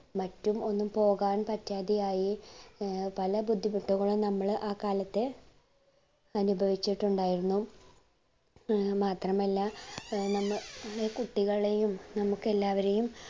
മറ്റും ഒന്നും പോകാൻ പറ്റാതെയായി ഏർ പല ബുദ്ധിമുട്ടുകളും നമ്മൾ ആ കാലത്ത് അനുഭവിച്ചിട്ടുണ്ടായിരുന്നു ഏർ മാത്രമല്ല നമ്മ ളെ കുട്ടികളെയും നമുക്ക് എല്ലാവരെയും